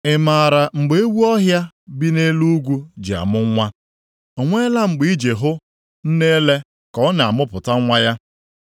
“Ị maara mgbe ewu ọhịa bi nʼelu ugwu ji amụ nwa? O nweela mgbe ị ji hụ nne ele ka ọ na-amụpụta nwa ya?